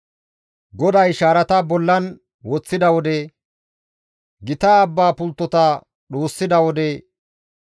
GODAY shaarata bollan woththida wode, gita abbaa pulttota dhuussida wode,